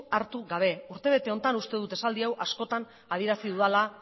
hartu gabe urtebete honetan uste dut esaldi hau askotan adierazi dudala